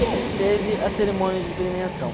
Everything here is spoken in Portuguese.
E aí teve a cerimônia de premiação.